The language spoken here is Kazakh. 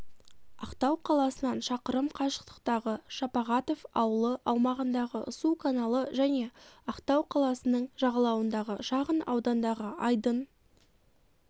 ақтау қаласынан шақырым қашықтықтағы шапағатов ауылы аумағындағы су каналы және ақтау қаласының жағалауындағы шағын аудандағы айдын